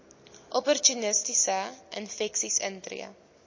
opportunistiese infeksies intree